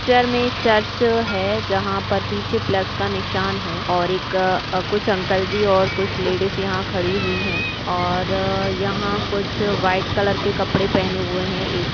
Picture मे church है जहा पर पीछे प्लस का निशान है और एक कुछ अंकल जी और कुछ लेडिज यहा खड़ी हुई है और यहाँ कुछ व्हाइट कलर के कपड़े पहने हुए है। एक--